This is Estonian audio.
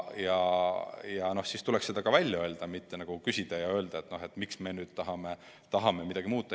Aga siis tuleks see ka välja öelda, mitte küsida, et miks meie nüüd tahame midagi muuta.